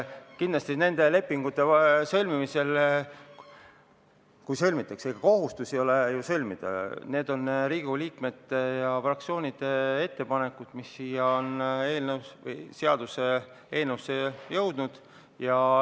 Kindlasti, neid lepinguid sõlmitakse – kui sõlmitakse, ega kohustust sõlmida ei ole – Riigikogu liikmete ja fraktsioonide ettepanekute põhjal, mis siia seaduseelnõusse on jõudnud.